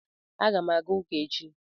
Aga m aga uka echi